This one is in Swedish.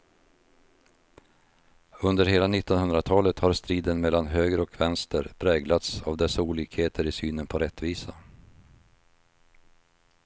Under hela nittonhundratalet har striden mellan höger och vänster präglats av dessa olikheter i synen på rättvisa.